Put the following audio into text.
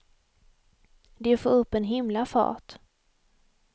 De får upp en himla fart.